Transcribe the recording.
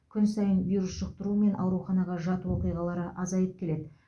күн сайын вирус жұқтыру мен ауруханаға жату оқиғалары азайып келеді